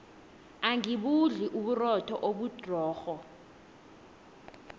angibudli uburotho obudrorho